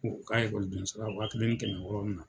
U ka ekɔliden sara, wa kelen ni kɛmɛ wɔɔrɔ mina.